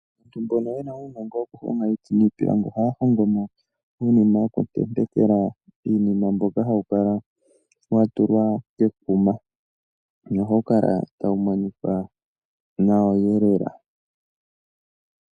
Aantu mbono yena uunogo woku honga iiti niipilangi oha hongo mo uunima woku tentekela iinima mboka hawu kala wa tulwa kekuma nohawu monika nawa eelela.